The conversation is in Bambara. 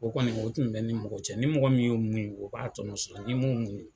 O kɔni o kun be ni mɔgɔ cɛ ni mɔgɔ min ye o muɲu ye o b'a tɔnɔ sɔrɔ ni m' o muɲu